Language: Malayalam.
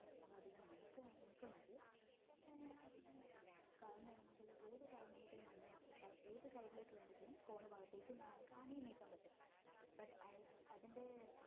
അധികം നീക്ക നീക്കുന്നത് ഏർ മുന്നോട്ട് ഏത് side ലേക്ക് വീണെങ്കിലും corn ഭാഗത്തേക്ക് താനെ നീക്കാൻ പറ്റും അത് അതിൻ്റെ